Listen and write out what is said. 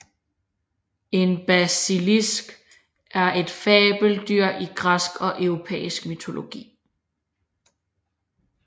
En basilisk er et fabeldyr i græsk og europæisk mytologi